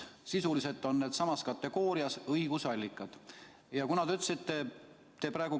Sisuliselt on need sama kategooria õigusallikad.